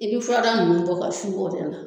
I bi furadaa nunnu bɔ ka su o de la